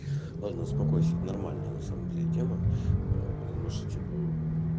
ладно успокойся это нормальная на самом деле тема ээ потому что типо